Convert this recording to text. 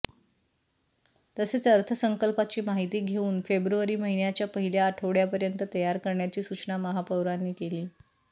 तसेच अर्थसंकल्पाची माहिती घेऊन फेब्रुवारी महिन्याच्या पहिल्या आठवडय़ापर्यंत तयार करण्याची सूचना महापौरांनी केली